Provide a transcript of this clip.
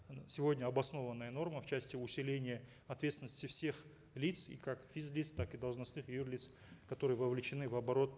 сегодня обоснованная норма в части усиления ответственности всех лиц и как физ лиц так и должностных юр лиц которые вовлечены в оборот